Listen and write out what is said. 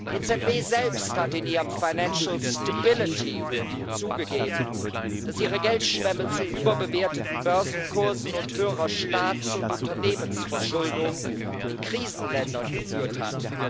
Die EZB selbst hat in ihrem Financial Stability Review zugegeben, dass ihre Geldschwemme zu überbewerteten Börsenkursen und höherer Staats und Unternehmensverschuldung in Krisenländern geführt hat.